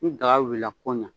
Ni daga wulila ko ɲa.